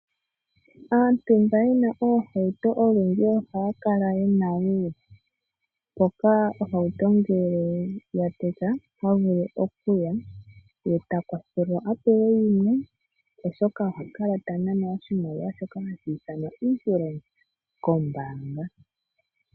Aantu mba ye na oohauto olundji ohaya kala ye na wo mpoka ohauto ngele ya teka ota vulu okuya ye ta kwathelwa a pewe yimwe oshoka oha kala ta nanwa shoka hashi ithanwa Insurance kombanga.